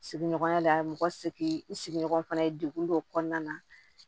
Sigiɲɔgɔnya la mɔgɔ segin i sigiɲɔgɔn fana ye degun dɔw kɔnɔna na